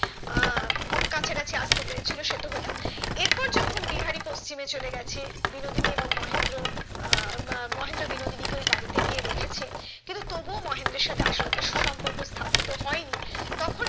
আহ কাছাকাছি আসতে পেরে ছিল সে তো হলেও এরপর যখন বিহারি পশ্চিমে চলে গেছে বিনোদিনী এবং মহেন্দ্র আহ উম মহেন্দ্র বিনোদিনী কে ওই বাড়িয়ে গিয়ে রেখেছে কিন্তু তবু ও মহেন্দ্রর সাথে আশালতার সুসম্পর্ক স্থাপিত হয়নি তখন